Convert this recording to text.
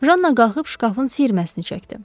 Janna qalxıb şkafın siyirməsini çəkdi.